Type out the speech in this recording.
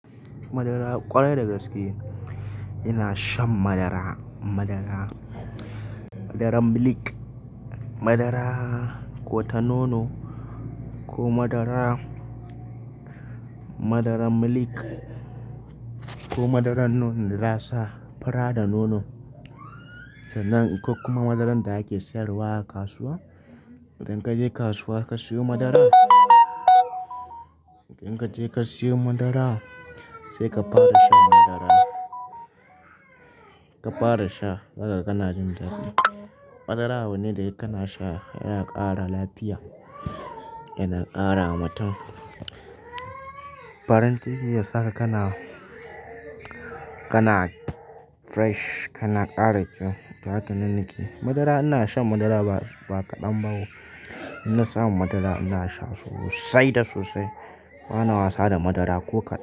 Madara ƙwarai da gaske ina shan madara. Madara, madaran milk, madara ko ta nono, ko madara, madaran milk ko madaran nonon da za a sa fura da nono sannan ko kuma madaran da ake sayarwa a kasuwa. Idan ka je kasuwa ka siyo madara, idan ka je ka siyo madara sai ka fara shan madara. Ka fara sha haka kana jin daɗi. Madara abu ne da idan kana sha yana ƙara lafiya, yana ƙarawa mutum farin jiki, ya sa ka kana, kana fresh, kana ƙara kyau. Haka nan nake, madara ina shan madara ba, ba kaɗan ba. Ina samun madara ina sha sosai da sosai. Bana wasa da madara ko kaɗan.